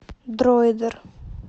дроидер